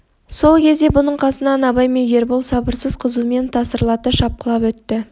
сол кезде бұның қасынан абай мен ербол сабырсыз қызумен тасырлата шапқылап өтті